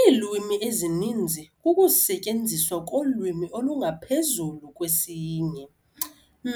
Iilwimi ezininzi kukusetyenziswa kolwimi olungaphezulu kwesinye,